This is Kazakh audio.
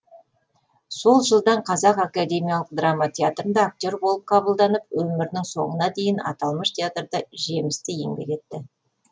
сол жылдан қазақ академиялық драма театрында актер болып қабылданып өмірінің соңына дейін аталмыш театрда жемісті еңбек етті